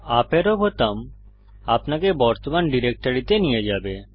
UP আরো বোতাম আপনাকে বর্তমান ডিরেক্টরিতে নিয়ে যাবে